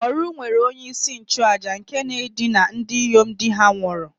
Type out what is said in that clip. Oru nwere onye-isi-nchu-àjà nke na-edina ndinyom di-ha nwuru